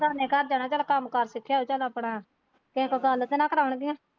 ਬਗਾਨੇ ਘਰ ਜਾਣਾ ਚੱਲ ਕੰਮ ਕਾਰ ਸਿੱਖਿਆਂ ਹੋਊਗਾ ਚੱਲ ਆਪਣਾ ਫਿਰ ਕੋਈ ਗੱਲ ਤਾਂ ਨਹੀਂ ਕਰਾਣਗੀਆਂ।